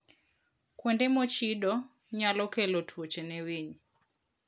Kuonde mochido nyalo kelo tuoche ne winy.